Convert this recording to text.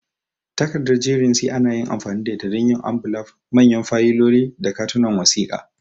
Takarda jerin C ana amfani da ita don yin ambulaf, manyan fayiloli, da katunan wasiƙa.